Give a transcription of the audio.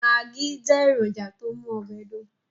Magí jẹ́ èrònjà tó mú ọbẹ̀ dùn